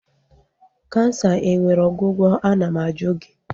Kansa enwere ọgwụgwọ? Ana m ajụ gị?